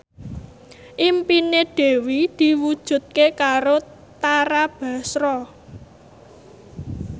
impine Dewi diwujudke karo Tara Basro